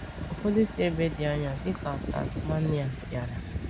Ụfọdụ si ebe dị anya dịka Tasmania bịara.